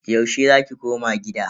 Yaushe za ki koma gida?